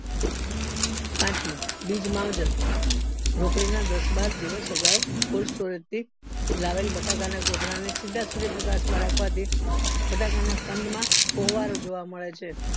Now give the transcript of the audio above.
પાંચ બીજ માવજ્થ રોપણીના દસ બાર દિવસ અગાવ coldstorage થી લાવેલ બટાકા ના કોથળાને સિદ્ધા સૂર્ય પ્રકાશ માં રાખવાથી બટાકાના કંદ મા પોવારો જોવા મળે છે